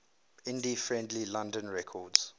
indie friendly london records